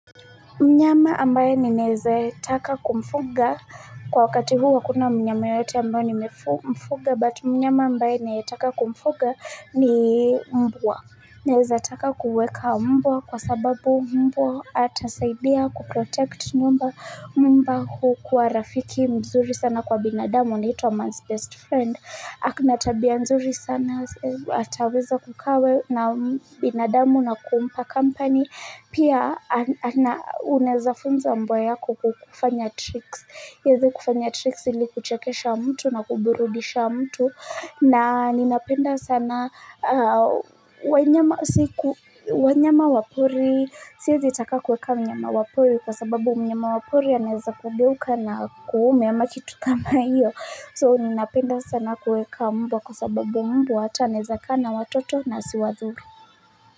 Mnyama ambaye nineze taka kumfuga kwa wakati huu hakuna mnyama yeyote ambaye nimefuga But mnyama ambaye nineze taka kumfuga ni mbwa Neze taka kuweka mbwa kwa sababu mbwa atasaidia ku protect nyumba mbwa hukua rafiki mzuri sana kwa binadamu anaitwa man's best friend ako na tabia mzuri sana ataweza kukaa na binadamu na kumpa company Pia uneza funza mbwa yako kufanya tricks ieze kufanya tricks ili kuchekesha mtu na kuburudisha mtu na ninapenda sana wanyama wa pori singetaka kuweka mnyama wa pori kwa sababu mnyama wa pori aneza kugeuka na akuume ama kitu kama hiyo So ninapenda sana kuweka mbwa kwa sababu mbwa ata aneza kaa watoto na asiwadhuri.